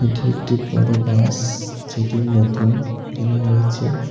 এটি একটি বড় বাস যেটি নতুন কিনা হয়েছে।